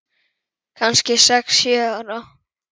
Kannski sex, sjö ára.